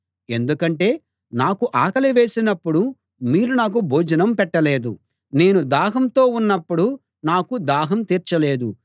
ఎందుకంటే నాకు ఆకలి వేసినప్పుడు మీరు నాకు భోజనం పెట్టలేదు నేను దాహంతో ఉన్నప్పుడు నాకు దాహం తీర్చలేదు